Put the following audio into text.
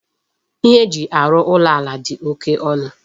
Ihe eji arụ ụlọ ala dị oké ọnụ.